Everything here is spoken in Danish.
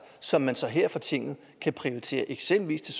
som man så her fra tinget kan prioritere eksempelvis til